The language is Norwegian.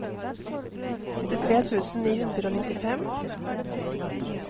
syttitre tusen ni hundre og nittifem